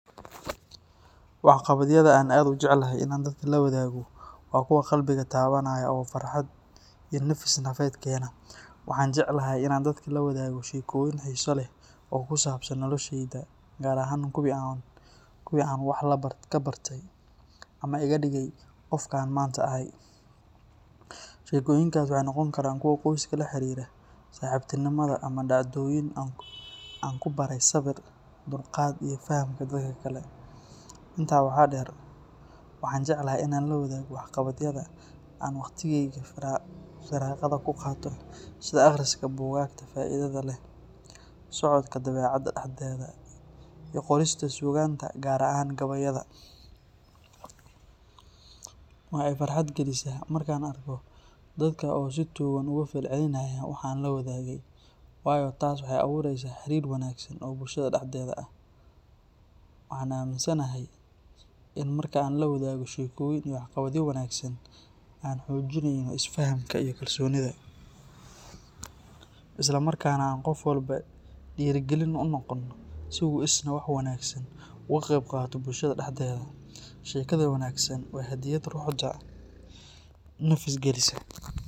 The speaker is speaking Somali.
Waxqabadyada aan aad u jeclahay in aan dadka la wadaago waa kuwa qalbiga taabanaya oo farxad iyo nafis nafeed keena. Waxaan jecelahay in aan dadka la wadaago sheekooyin xiiso leh oo ku saabsan noloshayda, gaar ahaan kuwii aan wax ka bartay ama iga dhigay qofka aan maanta ahay. Sheekooyinkaasi waxay noqon karaan kuwa qoyska la xiriira, saaxiibtinimada, ama dhacdooyin aan ku baray sabir, dulqaad iyo fahamka dadka kale. Intaa waxaa dheer, waxaan jecelahay in aan la wadaago waxqabadyada aan waqtigayga firaaqada ku qaato sida akhriska buugaagta faa’iidada leh, socodka dabeecadda dhexdeeda, iyo qorista suugaanta gaar ahaan gabayada. Waxaa i farxad gelisa marka aan arko dadka oo si togan uga falcelinaya waxa aan la wadaagay, waayo taas waxay abuureysaa xiriir wanaagsan oo bulshada dhexdeeda ah. Waxaan aamisanahay in marka aan la wadaagno sheekooyin iyo waxqabadyo wanaagsan, aan xoojineyno isfahamka iyo kalsoonida, islamarkaana aan qof walba dhiirrigelin u noqono si uu isna wax wanaagsan uga qeyb qaato bulshada dhexdeeda. Sheekada wanaagsan waa hadyad ruuxda nafis gelisa.